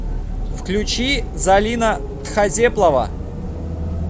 включи залина тхазеплова